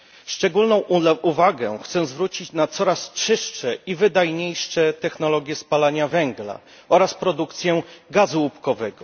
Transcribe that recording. Szczególną uwagę chcę zwrócić na coraz czystsze i wydajniejsze technologie spalania węgla oraz produkcję gazu łupkowego.